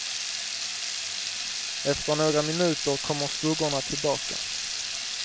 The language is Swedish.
Efter några minuter kommer skuggorna tillbaka.